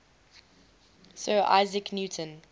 sir isaac newton